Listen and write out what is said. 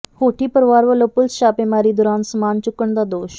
ਹੋਠੀ ਪਰਿਵਾਰ ਵੱਲੋਂ ਪੁਲਿਸ ਛਾਪੇਮਾਰੀ ਦੌਰਾਨ ਸਮਾਨ ਚੁੱਕਣ ਦਾ ਦੋਸ਼